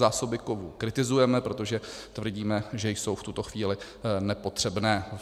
Zásoby kovů kritizujeme, protože tvrdíme, že jsou v tuto chvíli nepotřebné.